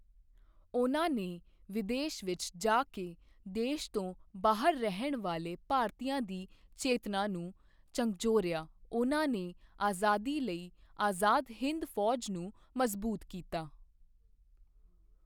ਉਨ੍ਹਾਂ ਨੇ ਵਿਦੇਸ਼ ਵਿੱਚ ਜਾ ਕੇ ਦੇਸ਼ ਤੋਂ ਬਾਹਰ ਰਹਿਣ ਵਾਲੇ ਭਾਰਤੀਆਂ ਦੀ ਚੇਤਨਾ ਨੂੰ ਝਕਝੋਰਿਆ, ਉਨ੍ਹਾਂ ਨੇ ਆਜ਼ਾਦੀ ਲਈ ਆਜ਼ਾਦ ਹਿੰਦ ਫੌਜ ਨੂੰ ਮਜ਼ਬੂਤ ਕੀਤਾ।